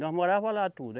Nós morava lá tudo.